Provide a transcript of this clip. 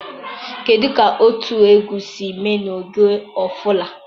kedụ ka otu egwu si mee n'oge ofala?